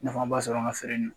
Nafan b'a sɔrɔ n ka feere in na.